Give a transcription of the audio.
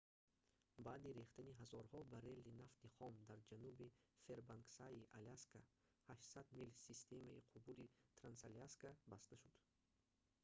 баъди рехтани ҳазорҳо баррели нафти хом дар ҷануби фэрбанксаи аляска 800 мил системаи қубури трансаляска баста шуд